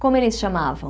Como eles chamavam?